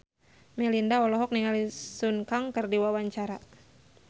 Melinda olohok ningali Sun Kang keur diwawancara